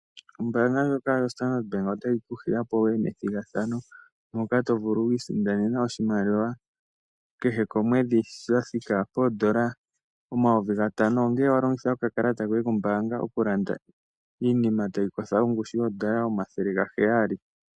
Ombaanga ndjoka yoStandard Bank otayi ku hiya opo wu ye methigathano moka to vulu oku isindanene oshimaliwa kehe komwedhi sha thika poondola omayovi gatano, ngele wa longitha okalata koye kombaanga okulanda iinima tayi kotha ongushu yoondola omathele gaheyali.